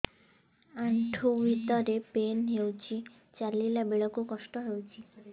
ଆଣ୍ଠୁ ଭିତରେ ପେନ୍ ହଉଚି ଚାଲିଲା ବେଳକୁ କଷ୍ଟ ହଉଚି